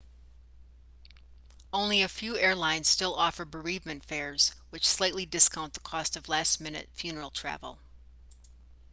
only a few airlines still offer bereavement fares which slightly discount the cost of last-minute funeral travel